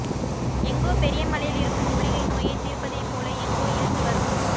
எங்கோ பெரியமலையில் இருக்கும் மூலிகை நோயைத் தீர்ப்பதைப் போல எங்கோ இருந்து வரும்